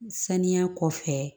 Saniya kɔfɛ